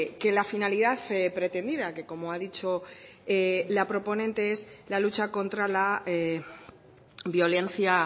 que la finalidad pretendida que como ha dicho la proponente es la lucha contra la violencia